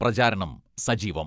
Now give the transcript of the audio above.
പ്രചാരണം സജീവം.